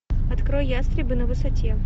открой ястребы на высоте